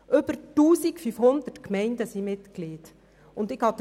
Über 1500 Gemeinden sind Mitglieder der SKOS.